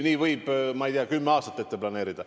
Nii võib, ma ei tea, kümme aastat ette planeerida.